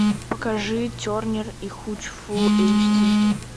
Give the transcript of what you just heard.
покажи тернер и хуч фул эйч ди